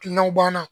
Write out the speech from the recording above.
Kilinaw b'an na